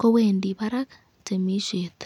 kowendi barak temisyet.